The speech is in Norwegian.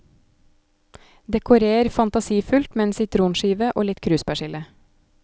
Dekorer fantasifullt med en sitronskive og litt kruspersille.